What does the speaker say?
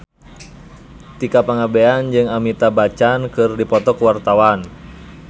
Tika Pangabean jeung Amitabh Bachchan keur dipoto ku wartawan